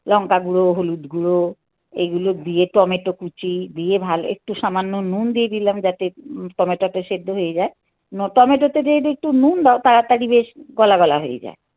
লঙ্কা গুঁড়ো, হলুদ গুঁড়ো, এগুলো দিয়ে টমেটো কুচি, দিয়ে ভালো, একটু সামান্য নুন দিয়ে দিলাম যাতে টমেটোটা সেদ্ধ হয়ে যায়, টমেটোতে যদি একটু নুন দাও তাড়াতাড়ি বেশ গলা - গলা হয়ে যায়.